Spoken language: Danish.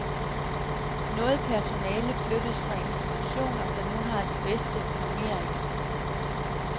Noget personale flyttes fra institutioner, der nu har de bedste normeringer.